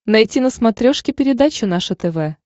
найти на смотрешке передачу наше тв